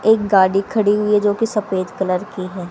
एक गाड़ी खड़ी हुई है जो की सफेद कलर की है।